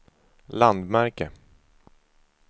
landmärke